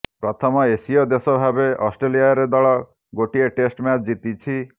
ପ୍ରଥମ ଏସୀୟ ଦେଶ ଭାବେ ଅଷ୍ଟ୍ରେଲିଆରେ ଦଳ ଗୋଟିଏ ଟେଷ୍ଟ ମ୍ୟାଚ୍ ଜିତିଛି